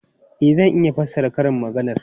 E, zan iya fassara karin maganar.